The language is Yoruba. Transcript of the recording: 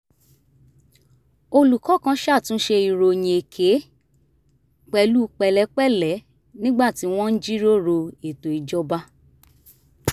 olùkọ́ kan ṣàtúnṣe ìròyìn èké pẹ̀lú pẹ̀lẹ́pẹ̀lẹ́ nígbà tí wọ́n ń jíròrò ètò ìjọba